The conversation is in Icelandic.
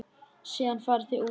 Síðan farið út.